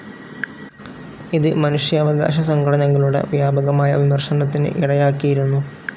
ഇത് മനുഷ്യാവകാശ സംഘടനകളുടെ വ്യാപകമായ വിമർശനത്തിന് ഇടയാക്കിയിരുന്നു.